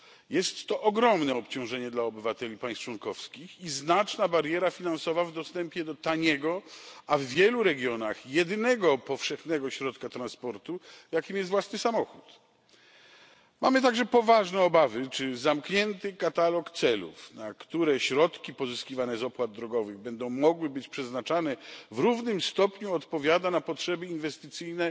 Jest to ogromne obciążenie dla obywateli państw członkowskich i znaczna bariera finansowa w dostępie do taniego, a w wielu regionach jedynego powszechnego środka transportu, jakim jest własny samochód. Mamy także poważne obawy, czy zamknięty katalog celów, na które środki pozyskiwane z opłat drogowych będą mogły być przeznaczane, w równym stopniu odpowiada na potrzeby inwestycyjne